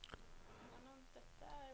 Smerte er grunnleggjande for all kunst.